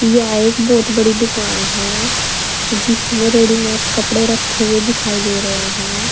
यह एक बहुत बड़ी दुकान है जिसमें रेडीमेड कपड़े रखे हुए दिखाई दे रहे हैं।